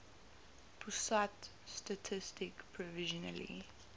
pusat statistik provisionally